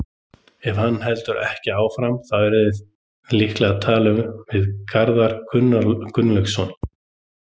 Ef hann heldur ekki áfram, þá eruði líka að tala við Garðar Gunnlaugsson?